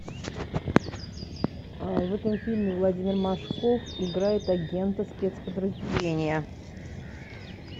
в этом фильме владимир машков играет агента спецподразделения